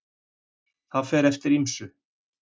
Það fer eftir ýmsu.